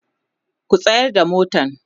ku tsayar da motan!.